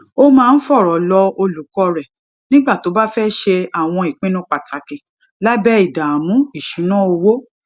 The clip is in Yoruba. ó máa ń fòrò lọ olùkó rè nígbà tó bá fé ṣe àwọn ìpinnu pàtàkì lábé ìdààmú ìṣúnná owó